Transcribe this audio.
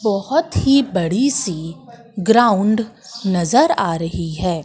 बहोत ही बड़ी सी ग्राउंड नजर आ रही है।